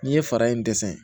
N'i ye fara in dɛsɛ